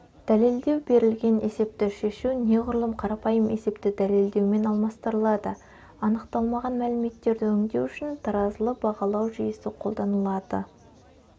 дәлелдеу берілген есепті шешу неғұрлым қарапайым есепті дәлелдеумен алмастырылады анықталмаған мәліметтерді өңдеу үшін таразылы бағалау жүйесі қолданылады